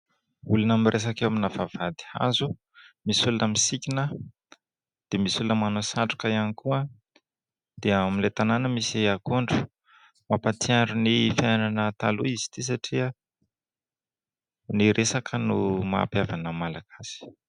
Olona miresaka eo amina vavahady hazo, misy olona misikina dia misy olona manao satroka ihany koa dia amin'ilay tanàna misy akondro, mampahatsiaro ny fiainana taloha izy ity satria ny resaka no mahampihavana ny Malagasy.